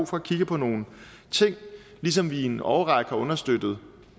for at kigge på nogle ting ligesom vi i en årrække har understøttet